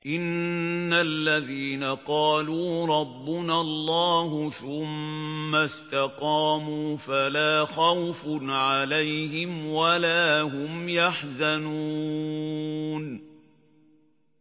إِنَّ الَّذِينَ قَالُوا رَبُّنَا اللَّهُ ثُمَّ اسْتَقَامُوا فَلَا خَوْفٌ عَلَيْهِمْ وَلَا هُمْ يَحْزَنُونَ